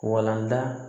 Walanda